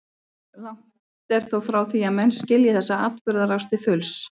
Langt er þó frá því að menn skilji þessa atburðarás til fulls.